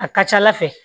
A ka ca ala fɛ